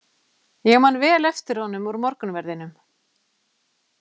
Ég man vel eftir honum úr morgunverðinum.